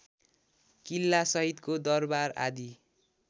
किल्लासहितको दरबार आदि